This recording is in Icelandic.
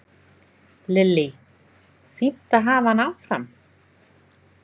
Lillý: Fínt að hafa hann áfram?